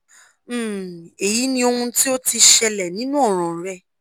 um eyi ni ohun ti o ti ṣẹlẹ ninu ọran rẹ